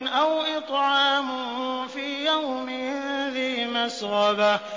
أَوْ إِطْعَامٌ فِي يَوْمٍ ذِي مَسْغَبَةٍ